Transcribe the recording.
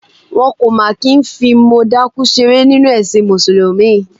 Wọn kò máa kí ń fi mọ dákú ṣeré nínú ẹ̀sìn Mùsùlùmí.